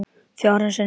Fjórum sinnum